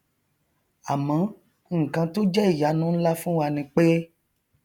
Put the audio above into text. àmọ nkan tó jẹ ìyanu nlá fún wa ni pé